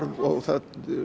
og það